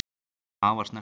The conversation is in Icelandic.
Það var snerting